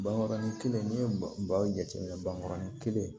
Bankɔrɔnin kelen n'i ye baro jateminɛ bankɔrɔnin kelen